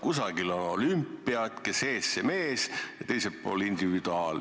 Kusagil on olümpia, et kes ees, see mees, ja teisel pool individuaalpüük.